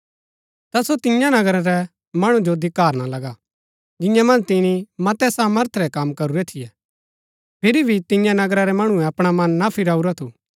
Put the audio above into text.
ता सो तियां नगरा रै मणु जो धिक्कारना लगा जिंआ मन्ज तिनी मतै सामर्थ रै कम करूरै थियै फिरी भी तियां नगरा रै मणुऐ अपणा मन ना फिराऊरा थु